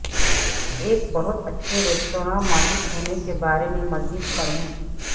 ایک بہت اچھے ریستوراں مالک ہونے کے بارے میں مزید پڑھیں